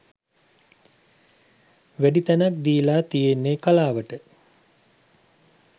වැඩි තැනක් දීලා තියෙන්නෙ කලාවට.